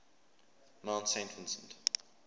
mount saint vincent